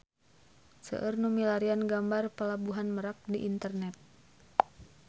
Seueur nu milarian gambar Pelabuhan Merak di internet